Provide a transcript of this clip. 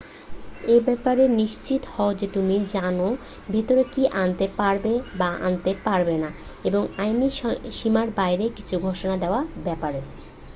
এ ব্যাপারে নিশ্চিত হও যে তুমি জানো ভেতরে কি আনতে পারবে বা আনতে পারবে না এবং আইনী সীমার বাইরে কিছু ঘোষণা দেয়ার ব্যাপারে